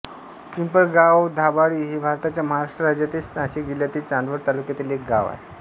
पिंपळगावधाबळी हे भारताच्या महाराष्ट्र राज्यातील नाशिक जिल्ह्यातील चांदवड तालुक्यातील एक गाव आहे